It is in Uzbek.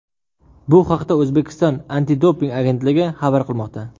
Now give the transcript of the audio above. Bu haqda O‘zbekiston antidoping agentligi xabar qilmoqda .